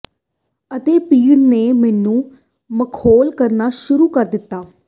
ਅਤੇ ਭੀੜ ਨੇ ਮੈਨੂੰ ਮਖੌਲ ਕਰਨਾ ਸ਼ੁਰੂ ਕਰ ਦਿੱਤਾ